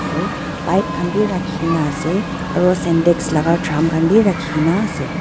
se pipe khan bi rakhikaena ase aro sintex laka thram khan birakhi kaenaase.